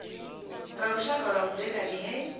nga lushaka lwa vhudzekani he